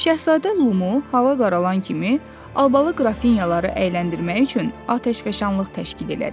Şahzadə Limon hava qaralan kimi albalı qrafinyaları əyləndirmək üçün atəşfəşanlıq təşkil elədi.